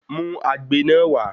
Mú agbe náà wà